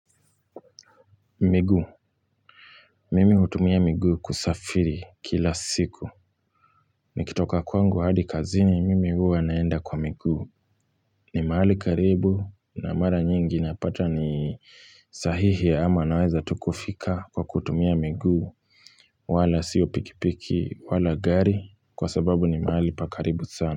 Miguu mimi hutumia miguu kusafiri kila siku nikitoka kwangu hadi kazini mimi huwa naenda kwa miguu ni mahali karibu na mara nyingi napata ni sahihi ama naweza tu kufika kwa kutumia miguu wala sio pikipiki wala gari kwa sababu ni mahali pa karibu sana.